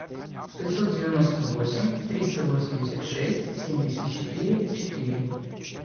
пятьсот девяносто восемь триста восемьдесят шесть семьдесят четыре четыре